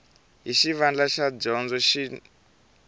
hi xivandla xa dyondzo xin